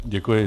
Děkuji.